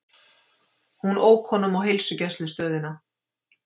Hún ók honum á heilsugæslustöðina.